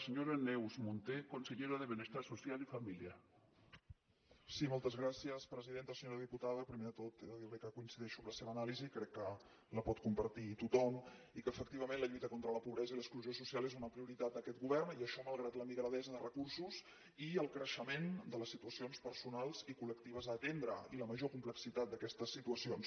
senyora diputada primer de tot he de dir li que coincideixo amb la seva anàlisi crec que la pot compartir tothom i que efectivament la lluita contra la pobresa i l’exclusió social és una prioritat d’aquest govern i això malgrat la migradesa de recursos i el creixement de les situacions personals i col·lectives a atendre i la major complexitat d’aquestes situacions